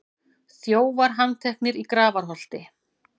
Þjófar handteknir í Grafarholti